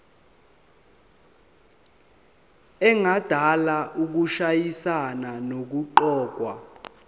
engadala ukushayisana nokuqokwa